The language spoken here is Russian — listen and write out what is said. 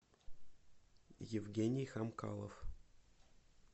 евгений хамкалов